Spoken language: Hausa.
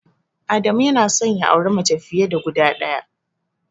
Adamu yana son ya auri mace fiye da guda ɗaya.